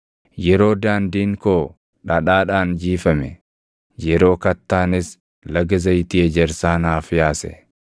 yeroo daandiin koo dhadhaadhaan jiifame, yeroo kattaanis laga zayitii ejersaa naaf yaase.